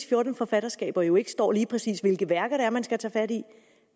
fjorten forfatterskaber jo ikke står lige præcis hvilke værker det er man skal tage fat i